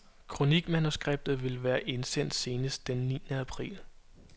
Kronikmanuskriptet skal være indsendt senest den niende april.